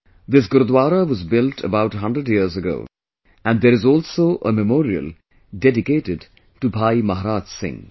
This Gurudwara was built about a hundred years ago and there is also a memorial dedicated to Bhai Maharaj Singh